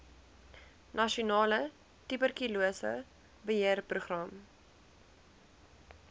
nasionale tuberkulose beheerprogram